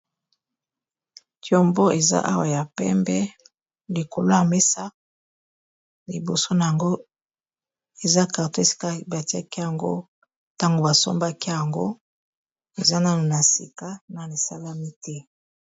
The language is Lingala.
tiombo eza awa ya pembe likolo ya mesa liboso na yango eza carto batiaki yango ntango basombaki yango eza nano na sika na isalami te